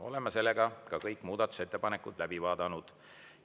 Oleme ka kõik muudatusettepanekud läbi vaadanud.